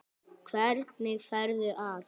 Hvernig ferðu að?